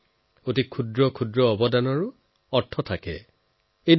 সৰুতকৈও সৰু সহায়েও অৰ্থ বহন কৰে